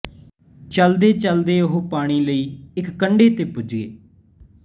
ਚਲਦੇ ਚਲਦੇ ਉਹ ਪਾਣੀ ਲਈ ਇੱਕ ਨਦੀ ਦੇ ਕੰਡੇ ਪੁੱਜੇ